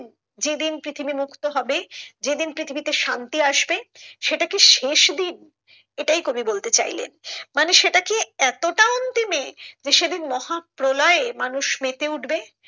যেদিন পৃথিবী মুক্ত হবে যেদিন পৃথিবীতে শান্তি আসবে সেটা কি শেষ দিন এটাই কবি বলতে চাইলেন মানে সেটা কি এতটা অন্তিমে যে সেদিন মহাপ্রলয়ে মানুষ মেতে উঠবে।